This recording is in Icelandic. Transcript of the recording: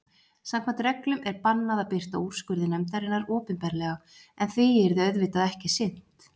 Samkvæmt reglum er bannað að birta úrskurði nefndarinnar opinberlega, en því yrði auðvitað ekki sinnt.